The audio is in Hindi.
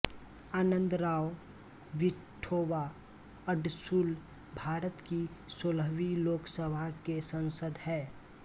आनंदराव विठोबा अडसुल भारत की सोलहवीं लोक सभा के सांसद हैं